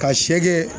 Ka